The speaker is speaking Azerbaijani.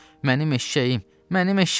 Mənim eşşəyim, mənim eşşəyim!